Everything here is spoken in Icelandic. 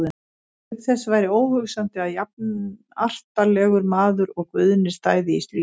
Auk þess væri óhugsandi að jafnartarlegur maður og Guðni stæði í slíku.